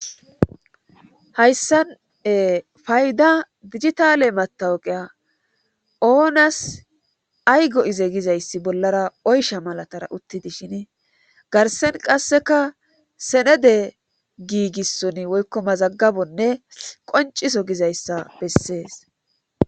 Haysan ee payda dijitaale matawuqiya oonas ay go7ize gizayssi bollara oysha malatara utti dishini garssen qasseka senede giigissoni woykko mazaggabonne qoncciso gizayssa besses.